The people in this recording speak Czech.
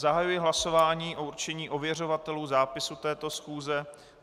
Zahajuji hlasování o určení ověřovatelů zápisu této schůze.